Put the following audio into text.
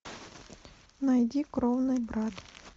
найди кровный брат